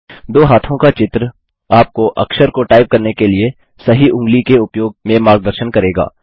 दो हाथों का चित्र आपको अक्षर को टाइप करने के लिए सही ऊंगली के उपयोग में मार्गदर्शन करेगा